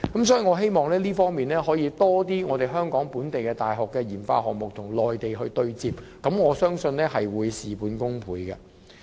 所以，我希望可以有更多香港本地大學的研發項目與內地對接，我相信這會事半功倍。